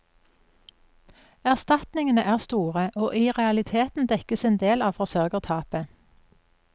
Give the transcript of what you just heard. Erstatningene er store og i realiteten dekker en del av forsørgertapet.